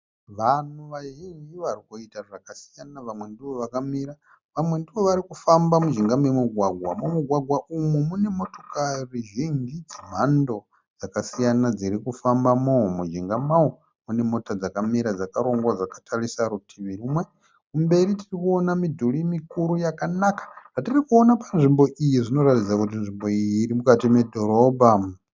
Vanhu vazhinji vari kuita zvakasiyana. Vamwe ndivo vakamira vamwe ndivo vari kufamba mujinga momugwagwa. Mumugwagwa umu mune motokari zhinji dzemhando dzakasiyana dziri kufambamo. Mujinga mawo mune mota dzakamira dzakarongwa dzakatarisa rutivi rumwe. Kumberi tiri kuona midhuri mikuru yakanaka. Zvatiri kuona panzvimbo iyi zvinoratidza kuti nzvimbo iyi iri mukati medhorobha.